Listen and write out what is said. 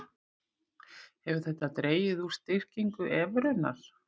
Hefur þetta dregið úr styrkingu evrunnar